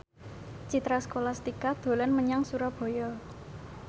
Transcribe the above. Citra Scholastika dolan menyang Surabaya